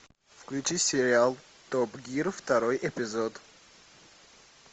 включи сериал топ гир второй эпизод